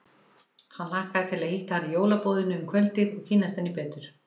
Hann hlakkaði til að hitta hana í jólaboðinu um kvöldið og kynnast henni betur.